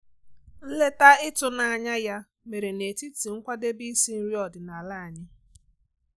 Nleta ịtụnanya ya mere n'etiti nkwadebe isi nri ọdịnala anyị.